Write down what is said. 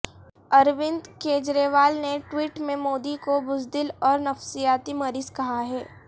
اروند کیجریوال نے ٹویٹ میں مودی کو بزدل اور نفسیاتی مریض کہا ہے